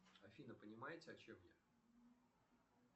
афина понимаете о чем я